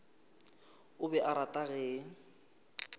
o be a rata ge